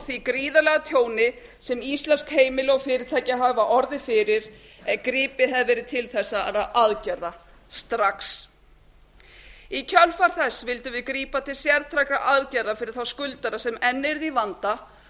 því gríðarlega tjóni sem íslensk heimili og fyrirtæki hafa orðið fyrir ef gripið hefði verið til þessara aðgerða strax í kjölfar þess vildum við grípa til sértækra aðgerða fyrir þá skuldara sem enn yrðu í vanda